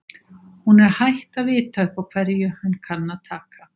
Hún er hætt að vita upp á hverju hann kann að taka.